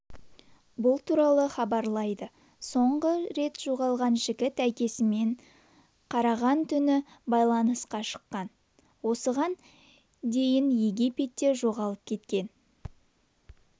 бұл туралы хабарлайды соңғы рет жоғалған жігіт әкесімен қараған түні байланысқа шыққан осыған дейінегипетте жоғалып кеткен